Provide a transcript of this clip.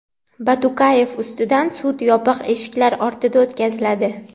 Batukayev ustidan sud yopiq eshiklar ortida o‘tkaziladi.